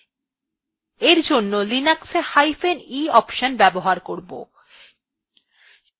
for জন্য আমরা linux ee hyphen e option ব্যবহার করব